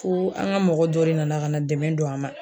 Foo an ga mɔgɔ dɔ de nana ka na dɛmɛ don an ma